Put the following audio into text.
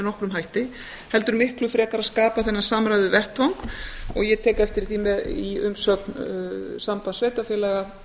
nokkrum hætti heldur miklu frekar að skapa þennan samræðuvettvang og ég tek eftir því í umsögn sambands sveitarfélaga